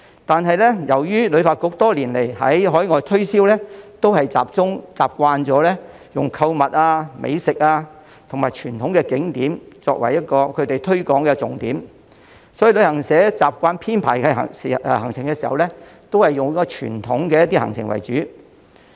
但是，由於旅發局多年來進行的海外推銷都習慣用購物、美食和傳統景點為推廣重點，所以旅行社在編排行程時亦習慣以傳統行程為主。